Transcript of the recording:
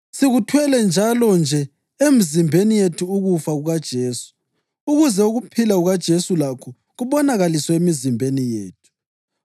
Sikuthwele njalonje emzimbeni yethu ukufa kukaJesu, ukuze ukuphila kukaJesu lakho kubonakaliswe emizimbeni yethu.